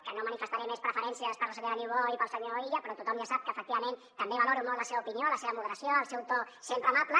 que no manifestaré més preferències per la senyora niubó i pel senyor illa però tothom ja sap que efectivament també valoro molt la seva opinió la seva moderació el seu to sempre amable